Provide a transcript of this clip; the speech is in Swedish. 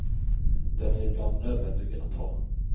Den är ibland nödvändig att ta.